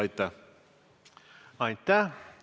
Aitäh!